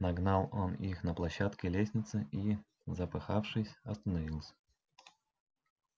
нагнал он их на площадке лестницы и запыхавшись остановился